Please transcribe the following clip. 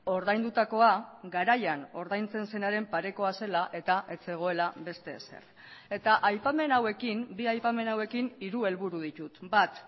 ordaindutakoa garaian ordaintzen zenaren parekoa zela eta ez zegoela beste ezer eta aipamen hauekin bi aipamen hauekin hiru helburu ditut bat